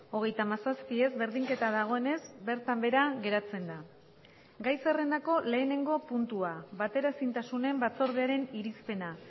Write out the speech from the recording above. hogeita hamazazpi ez berdinketa dagoenez bertan behera geratzen da gai zerrendako lehenengo puntua bateraezintasunen batzordearen irizpena